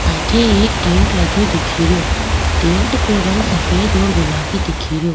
अठे एक टेंट लगयो दिखेरयो टेंट को रंग सफ़ेद और गुलाबी दिखेरयो।